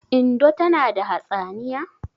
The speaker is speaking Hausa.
Indo tana da hatsaniya?